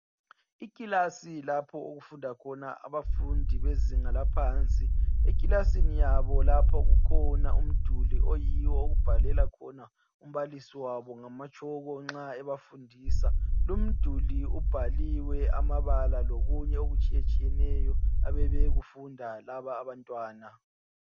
Ikilasi lapho okufunda khona abafundi bezinga laphansi. Ekilasini yabo lapho kukhona umduli oyiwo okubhalela khona umbalisi wabo ngamatshoko nxa ebafundisa lumduli ubhaliwe amabala lokunye okutshiyetshiyeneyo abayabe bekufunda laba abantwana